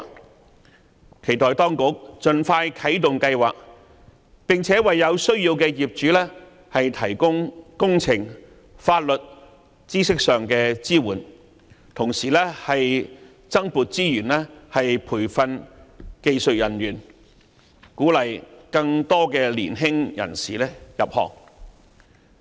我期待當局盡快啟動該計劃，並且為有需要的業主提供工程及法律知識上的支援，同時增撥資源培訓技術人員，鼓勵更多年輕人士入行。